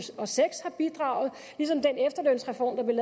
og seks har bidraget ligesom den efterlønsreform der blev